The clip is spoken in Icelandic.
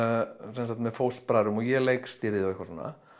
sem sagt með fóstbræðrum og ég leikstýrði og eitthvað svona